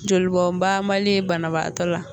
Jolibɔnbanbali ye banabaatɔ la.